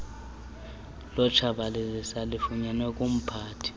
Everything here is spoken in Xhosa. lokutshabalalisa lifunyanwe kumphathi